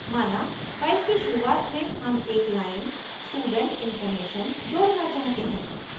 माना file की शुरुआत में हम एक line student information student information जोड़ना चाहते हैं